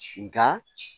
Nka